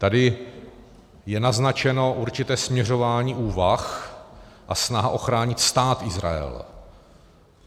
Tady je naznačeno určité směřování úvah a snaha uchránit Stát Izrael.